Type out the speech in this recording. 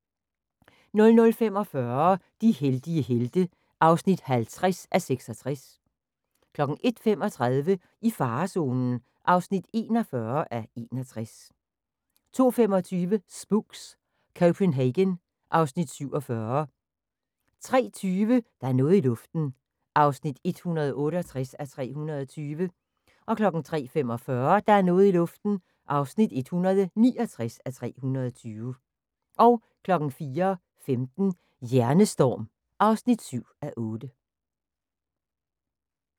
00:45: De heldige helte (50:66) 01:35: I farezonen (41:61) 02:25: Spooks: Copenhagen (Afs. 47) 03:20: Der er noget i luften (168:320) 03:45: Der er noget i luften (169:320) 04:15: Hjernestorm (7:8)